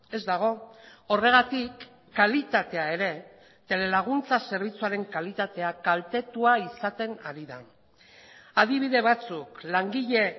ez dago horregatik kalitatea ere telelaguntza zerbitzuaren kalitatea kaltetua izaten ari da adibide batzuk langile